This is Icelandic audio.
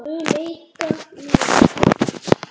Mun leika mér.